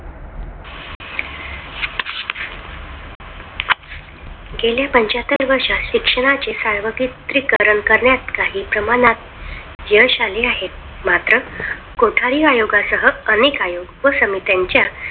गेल्या पांच्याहत्तर वर्षात शिक्षणाचे सार्वत्रिकरण करण्यात काही प्रमाणात यश आले. आहे मात्र कोठारी आयोगासह अनेक आयोग व समित्यांच्या